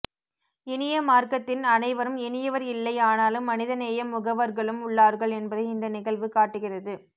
இனிய மார்க்கத்தின் அனைவரும் இனியவர் இல்லை ஆனாலும் மனித நேயம் முகவர்களும் உள்ளார்கள் என்பதை இந்த நிகழ்வு காட்டுகிறது